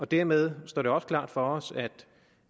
dermed står det også klart for os